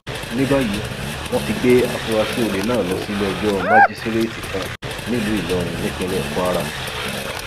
ní báyìí wọn ti gbé àfúrásì olè náà lọ síléẹjọ májísíréètì kan nílùú ìlọrin nípínlẹ kwara